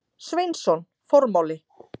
Sveinsson: Formáli.